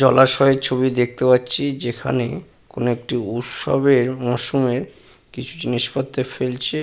জলাশয় ছবি দেখতে পাচ্ছি যেখানে কোন একটি উৎসবের মৌসুমের কিছু জিনিসপত্রে ফেলছে।